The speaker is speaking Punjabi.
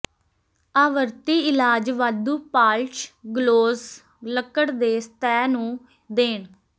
ਆਵਰਤੀ ਇਲਾਜ ਵਾਧੂ ਪਾਲਸ਼ ਗਲੌਸ ਲੱਕੜ ਦੇ ਸਤਹ ਨੂੰ ਦੇਣ